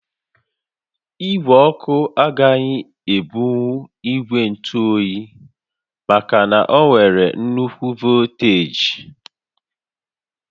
Igwe ọkụ agaghị ebunwu ígwè ntụ óyi maka na ọ nwere nnukwu volteeji